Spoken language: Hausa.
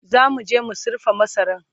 zamuje mu sirfa masaran